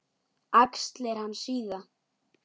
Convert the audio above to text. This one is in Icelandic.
Axlir hans síga.